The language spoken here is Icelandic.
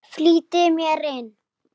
Ég ríf í mig bjúgun.